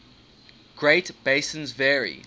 great basins vary